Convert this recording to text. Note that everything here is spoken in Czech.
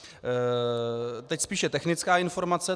Teď spíše technická informace.